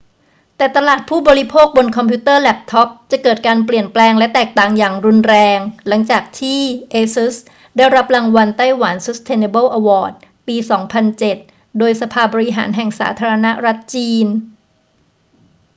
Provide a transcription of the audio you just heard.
แต่ตลาดผู้บริโภคบนคอมพิวเตอร์แล็ปท็อปจะเกิดการเปลี่ยนแปลงและแตกต่างอย่างรุนแรง หลังจากที่ asus ได้รับรางวัล taiwan sustainable award ปี 2007 โดยสภาบริหารแห่งสาธารณรัฐจีน